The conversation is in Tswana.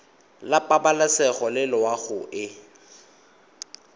la pabalesego le loago e